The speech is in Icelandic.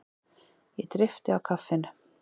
Ég dreypti á kaffinu.